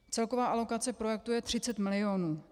Celková alokace projektu je 30 milionů.